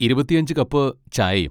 ഇരുപത്തിഅഞ്ച് cup ചായയും.